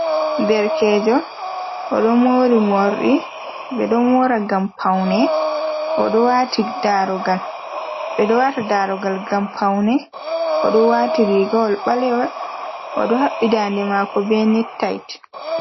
Derkejo odo mori morɗi, ɓeɗo mora ngam paune, odo wati darugal. Ɓeɗo wata darugal gam paune, odo wati rigawol balewol o do habbi dande mako be nektait.